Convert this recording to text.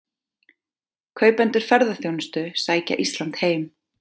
Kaupendur ferðaþjónustu sækja Ísland heim